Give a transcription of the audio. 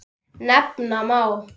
Nefna má